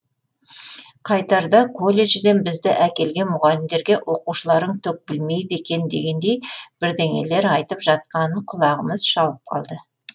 қайтарда колледжден бізді әкелген мұғалімдерге оқушыларың түк білмейді екен дегендей бірденелер айтып жатқанын құлағымыз шалып қалды